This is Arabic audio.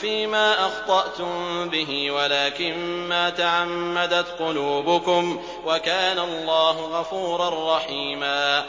فِيمَا أَخْطَأْتُم بِهِ وَلَٰكِن مَّا تَعَمَّدَتْ قُلُوبُكُمْ ۚ وَكَانَ اللَّهُ غَفُورًا رَّحِيمًا